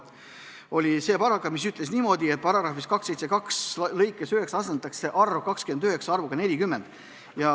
Muudatusettepanek ütles niimoodi, et § 272 lõikes 9 asendatakse arv "29" arvuga "40".